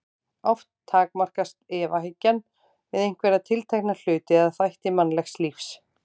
Oft takmarkast efahyggjan við einhverja tiltekna hluti eða þætti mannlegs lífs.